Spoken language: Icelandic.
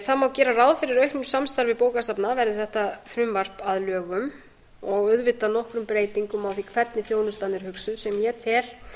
það má gera ráð fyrir auknu samstarfi bókasafna verði þetta frumvarp að lögum og auðvitað nokkrum breytingum á því hvernig þjónustan er hugsuð sem ég tel